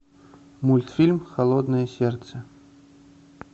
мультфильм холодное сердце